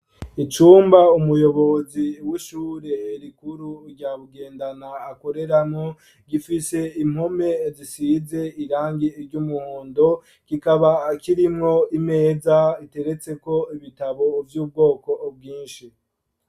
Icumba umuyobozi w'ishure herikuru ryabugendana akorerano gifise impome zisize irangi iry' umuhundo gikaba akirimwo imeza iteretseko ibitabo vy' ubwoko bwinshi.